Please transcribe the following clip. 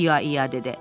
ia-ia dedi.